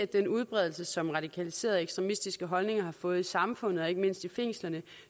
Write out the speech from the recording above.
den udbredelse som radikaliserede ekstremistiske holdninger har fået i samfundet og ikke mindst i fængslerne